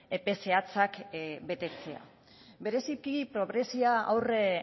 epe zehatzak betetzea bereziki pobreziari aurre